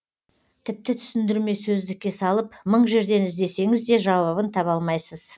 тіпті түсіндірме сөздікке салып мың жерден іздесеңіз де жауабын таба алмайсыз